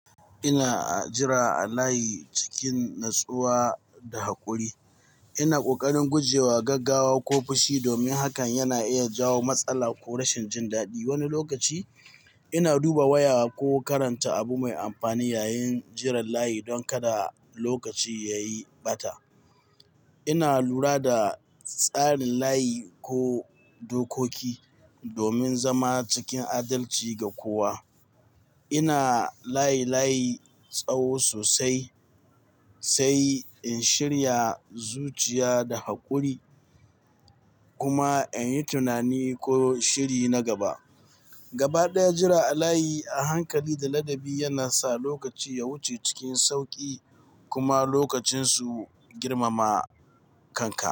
Ina jira a layi cikin natsuwa da haƙuri. Ina ƙoƙarin guje wa gaggawa ko fushi, domin hakan yana iya jawo matsala ko rashin jin daɗi. Wani lokaci ina duba waya ko karanta abu mai amfani yayin jiran layi don kada lokaci ya yi ɓata. Ina lura da tsarin layi ko dokoki domin zama cikin adalci ga kowa. Ina layi-layi tsawo sosai, sai in shirya zuciya da haƙuri kuma in yi tunani ko shiri na gaba. Gabaɗaya, jira a layi a hankali da ladabi yana sa lokaci ya wuce cikin sauƙi kuma lokacin su girmama kanka.